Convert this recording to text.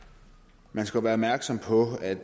man skal jo være opmærksom på at